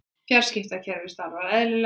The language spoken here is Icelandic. Fjarskiptakerfið starfar eðlilega